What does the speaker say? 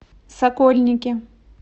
сокольники